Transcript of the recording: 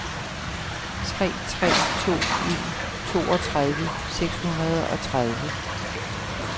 tre tre to en toogtredive seks hundrede og tredive